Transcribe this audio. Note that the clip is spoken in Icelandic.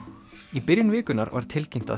í byrjun vikunnar var tilkynnt að